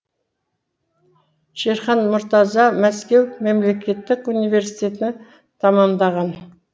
шерхан мұртаза мәскеу мемлекеттік университетін тәмамдаған